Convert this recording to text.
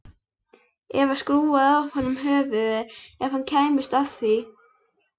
Eva skrúfaði af honum höfuðið ef hún kæmist að því.